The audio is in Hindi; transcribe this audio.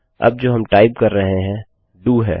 अब जो हम टाइप कर रहे हैं डीओ है